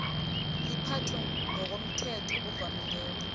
liphathwe ngokomthetho ovamileko